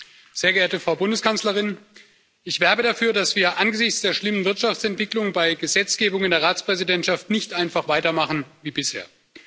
Herr Präsident, sehr geehrte Frau Bundeskanzlerin! Ich werbe dafür, dass wir angesichts der schlimmen Wirtschaftsentwicklung bei Gesetzgebung in der Ratspräsidentschaft nicht einfach weitermachen wie bisher.